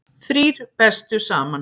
Þrír bestu saman